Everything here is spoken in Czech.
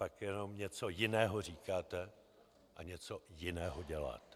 Pak jenom něco jiného říkáte a něco jiného děláte.